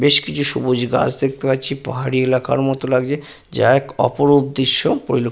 বেশ কিছু সবুজ গাছ দেখতে পাচ্ছি পাহাড়ি এলাকার মত লাগছে। যা এক অপরূপ দৃশ্য পরিল --